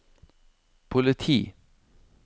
politi